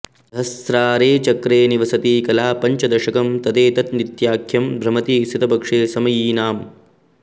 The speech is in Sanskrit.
सहस्रारे चक्रे निवसति कलापञ्चदशकं तदेतन्नित्याख्यं भ्रमति सितपक्षे समयिनाम्